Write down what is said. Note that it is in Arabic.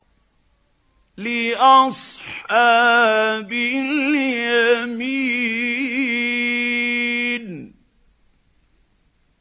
لِّأَصْحَابِ الْيَمِينِ